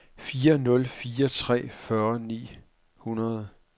fire nul fire tre fyrre ni hundrede